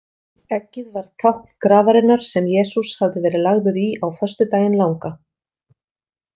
Eggið varð tákn grafarinnar sem Jesús hafði verið lagður í á föstudaginn langa.